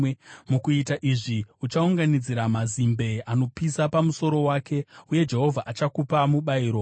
Mukuita izvi, uchaunganidzira mazimbe anopisa pamusoro wake, uye Jehovha achakupa mubayiro.